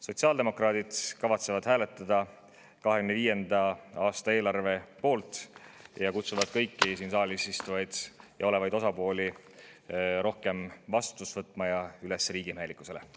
Sotsiaaldemokraadid kavatsevad hääletada 2025. aasta eelarve poolt ja kutsuvad kõiki siin saalis istuvaid ja olevaid osapooli rohkem vastutust võtma ning kutsuvad neid üles riigimehelikkusele.